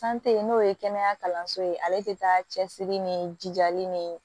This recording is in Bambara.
n'o ye kɛnɛya kalanso ye ale tɛ taa cɛsiri ni jijali ni